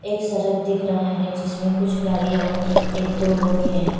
एक सड़क दिख रहा है। जिसमें कुछ गाडींया और एक दो लोग हैं।